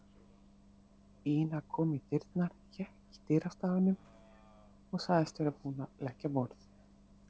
Ína kom í dyrnar, hékk í dyrastafnum og sagðist vera búin að leggja á borð.